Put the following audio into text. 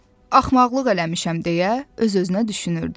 Axmaqlıq eləmişəm deyə öz-özünə düşünürdü.